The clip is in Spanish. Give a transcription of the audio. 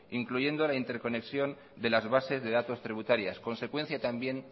incluyendo la interconexión de las bases de datos tributarias consecuencia también